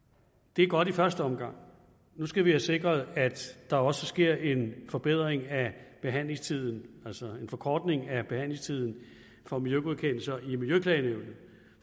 det er godt i første omgang nu skal vi have sikret at der også sker en forbedring af behandlingstiden altså en forkortelse af behandlingstiden for miljøgodkendelser i miljøklagenævnet